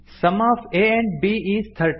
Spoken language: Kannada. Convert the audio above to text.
some of a and b is thirty